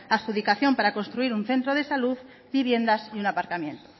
adjudicación para construir un centro de salud viviendas y un aparcamiento